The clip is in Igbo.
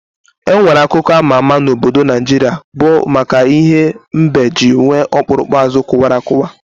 Enwere akụkọ ama ama na obodo Naijiria bụ maka ihe mbe ji nwee okpurukpu azụ kụwa akụwa